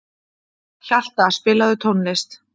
Hjalta, spilaðu tónlist.